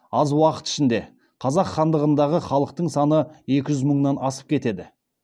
аз уақыт ішінде қазақ хандығындағы халықтың саны екі жүз мыңнан асып кетеді